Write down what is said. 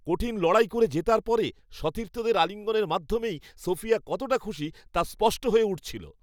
কঠিন লড়াই করে জেতার পরে সতীর্থদের আলিঙ্গনের মাধ্যমেই সোফিয়া কতটা খুশি, তা স্পষ্ট হয়ে উঠছিল।